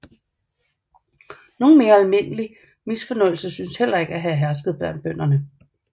Nogen mere almindelig misfornøjelse synes heller ikke at have hersket blandt bønderne